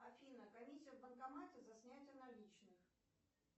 афина комиссия в банкомате за снятие наличных